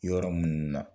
Yɔrɔ minnu na